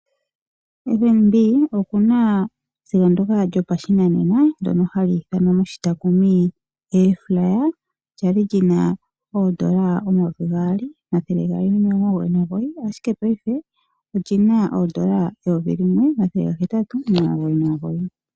FNB oku na esiga ndoka lyopashinanena ndono hali ithanwa moshitakumi Air fryer, lyali lyina oondola omayovi gaali, omathele gaali nomilongo omugoyi nomugoyi, ashike paife olyina oondola eyovi limwe omathele gahetatu omilongo omugoyi nomugoyi.